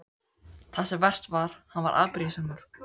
Það sem verst var: hann varð afbrýðisamur.